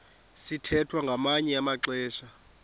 sithwethwa ngamanye amaxesha